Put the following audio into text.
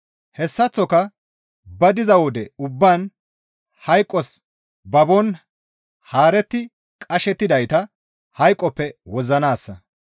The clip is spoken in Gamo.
Hessaththoka ba diza wode ubbaan hayqos babon haaretti qashettidayta hayqoppe wozzanaassa.